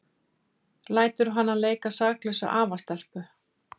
Lætur hana leika saklausa afastelpu.